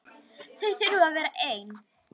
Þau þurfi að vera ein.